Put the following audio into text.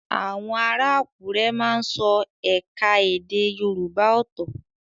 Àwọn ará Àkúrẹ́ má ń sọ ẹ̀ka èdè Yorùbá ọ́tọ́